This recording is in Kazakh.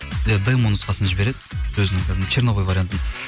иә демо нұсқасын жібереді сөзін кәдімгідей черновой вариантын